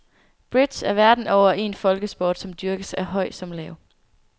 Bridge er verden over en folkesport, som dyrkes af høj som lav.